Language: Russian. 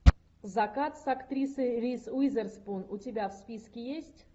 закат с актрисой риз уизерспун у тебя в списке есть